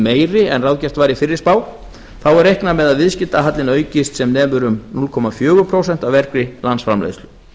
meiri en ráðgert var í fyrri spá þá er reiknað með að viðskiptahallinn aukist sem nemur um núll komma fjögur prósent af vergri landsframleiðslu